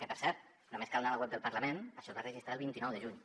que per cert només cal anar a la web del parlament això es va registrar el vint nou de juny